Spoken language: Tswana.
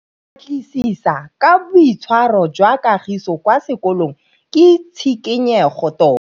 Go batlisisa ka boitshwaro jwa Kagiso kwa sekolong ke tshikinyêgô tota.